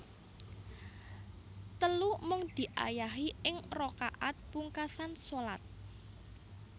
Telu Mung diayahi ing rakaat pungkasan shalat